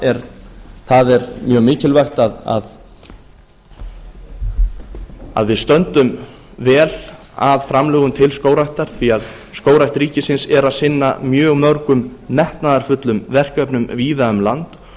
og það er mjög mikilvægt að við stöndum vel að framlögum til skógræktar því að skógrækt ríkisins er að sinna mjög mörgum metnaðarfullum verkefnum víða um land